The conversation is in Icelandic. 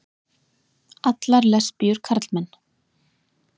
allar lesbíur karlmenn.